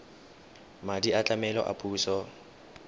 madi a tlamelo a puso